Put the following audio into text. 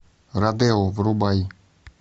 родео врубай